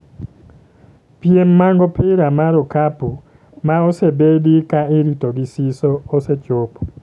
Piem mag opira mar okapu ma osebedi ka irito gi siso osechopo